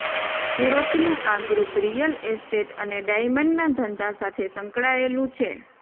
સુરતનંુ આ group real estate અને ડાયમંડના ધંધા સાથે સંકળાયેલંુ છે